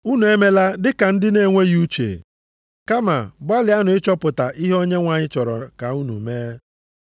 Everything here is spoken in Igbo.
Unu emela dị ka ndị na-enweghị uche, kama gbalịanụ ịchọpụta ihe Onyenwe anyị chọrọ ka unu mee,